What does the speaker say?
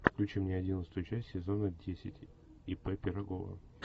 включи мне одиннадцатую часть сезона десять ип пирогова